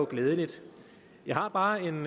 glædeligt jeg har bare en